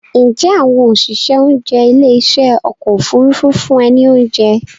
Ǹjẹ́ àwọn òṣìṣẹ́ oúnjẹ ilé ìṣe ọkọ̀ Òfurufú fún ẹ ní oúnjẹ?